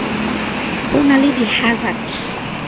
ho na le di hansard